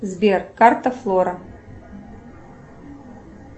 сбер карта флора